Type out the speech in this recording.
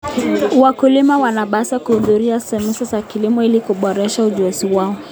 Wakulima wanapaswa kuhudhuria semina za kilimo ili kuboresha ujuzi wao.